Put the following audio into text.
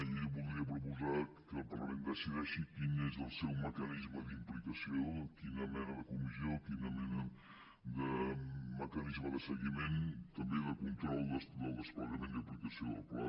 i voldria proposar que el parlament decideixi quin és el seu mecanisme d’implicació quina mena de comissió quina mena de mecanisme de seguiment també de control del desplegament i aplicació del pla